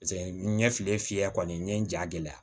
Paseke n ɲɛ fili fiyɛ kɔni n ye n ja gɛlɛya